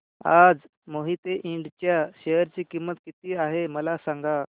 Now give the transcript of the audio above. आज मोहिते इंड च्या शेअर ची किंमत किती आहे मला सांगा